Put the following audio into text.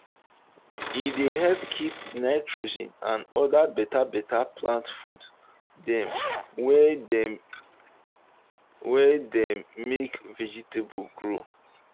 e dey help keep nitrogen and other better better plant food dem wey dem wey dey make vegetable grow.